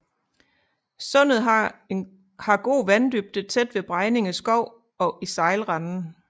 Sundet har god vanddybde tæt ved Bregninge Skov og i sejlrenden